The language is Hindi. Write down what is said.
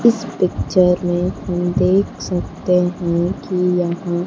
इस पिक्चर में हम देख सकते हैं कि यहां--